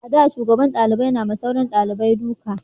a da shugaban dalibai na ma sauran daliban duka